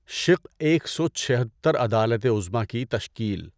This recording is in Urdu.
شق ایک سو چھہتر عدالت عظمیٰ کی تشکیل